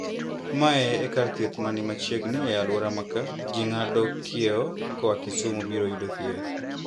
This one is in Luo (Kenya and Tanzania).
"Mae e kar thieth mani machiegni e aluora maka. Ji ng'ado kieo koa Kisumu biro yudo thieth.